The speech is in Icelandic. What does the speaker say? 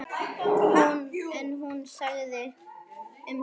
En hún þagði um það.